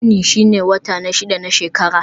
Yuni shine wata na shida na shekara.